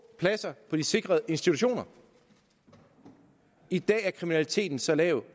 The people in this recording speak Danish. pladser på de sikrede institutioner i dag er kriminaliteten så lav